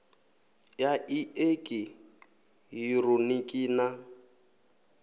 ya i eki hironiki na